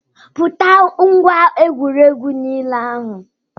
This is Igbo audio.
Bute ngwá egwuregwu nile ahụ